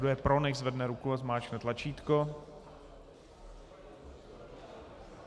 Kdo je pro, nechť zvedne ruku a zmáčkne tlačítko.